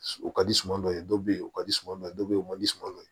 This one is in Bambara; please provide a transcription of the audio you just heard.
O ka di suma dɔ ye dɔ bɛ ye o ka di suma dɔ ye dɔ bɛ yen o ma di suman dɔ ye